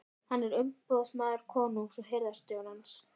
Hann er umboðsmaður konungs og hirðstjórans.